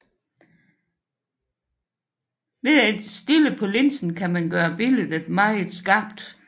Ved at stille på linsen kan man gøre billedet meget skarpt